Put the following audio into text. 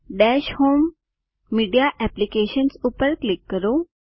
દશ home media apps ઉપર click કરો